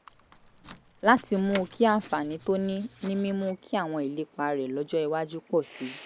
láti mú kí àǹfààní tó ní ní mímú kí àwọn ìlépa rẹ̀ lọ́jọ́ iwájú pọ̀ sí i